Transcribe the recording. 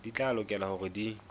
di tla lokela hore di